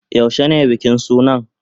Yaushe ne bikin sunan?